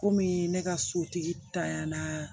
Komi ne ka sotigi tanyana